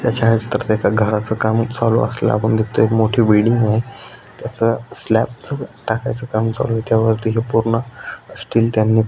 त्या छायाचित्रात एका घराच काम चालू असलेल आपण दिकतोय एक मोठी बिल्डिंग आहे त्याच स्लॅपच टाकायच काम चालूय त्याच्या वरती पुर्ण स्टील त्यानी --